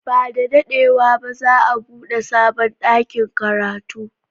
Ba da daɗewa ba za a buɗe sabon ɗakin karatu.